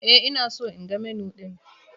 E, ina so in ga Menu ɗin